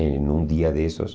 Em um dia desses,